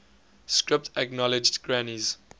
script acknowledged granny's